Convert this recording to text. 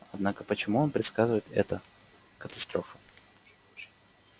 однако почему он предсказывает это катастрофу